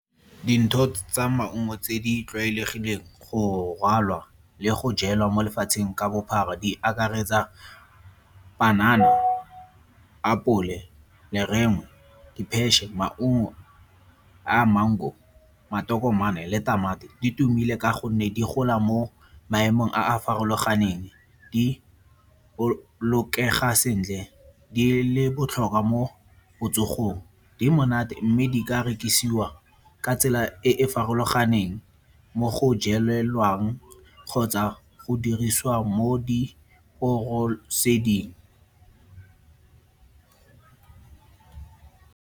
tsa maungo tse di tlwaelegileng go rwalwa le go jewa mo lefatsheng ka bophara di akaretsa panana, apole maungo a mango, matokomane le tamati, di tumile ka gonne di gola mo maemong a a farologaneng. Di bolokega sentle di le botlhokwa mo botsogong, di monate mme di ka rekisiwa ka tsela e e farologaneng mo go jelelwang kgotsa go dirisiwa mo diporoseding.